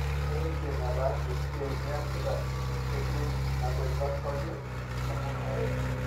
eniidim ataasa esiai niasita neshuko ina kwetata osarge aaku kawaida